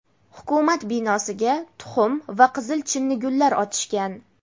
Hukumat binosiga tuxum va qizil chinnigullar otishgan.